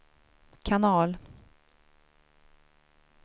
kanal